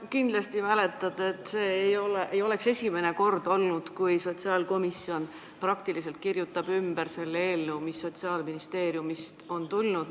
Sa kindlasti tead, et see ei oleks olnud esimene kord, kui sotsiaalkomisjon praktiliselt kirjutab ümber eelnõu, mis Sotsiaalministeeriumist on tulnud.